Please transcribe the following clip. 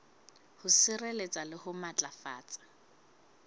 ho sireletsa le ho matlafatsa